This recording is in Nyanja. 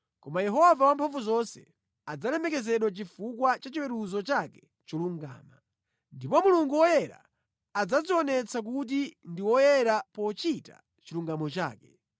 Koma Yehova Wamphamvuzonse adzalemekezedwa chifukwa cha chiweruzo chake cholungama. Ndipo Mulungu woyera adzadzionetsa kuti ndi woyera pochita chilungamo chake.